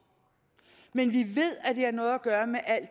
men vi ved at det har noget at gøre med al